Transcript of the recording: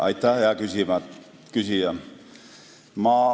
Aitäh, hea küsija!